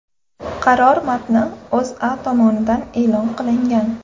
Qaror matni O‘zA tomonidan e’lon qilingan .